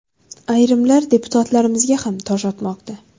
Ayrimlar deputatlarimizga ham tosh otmoqda.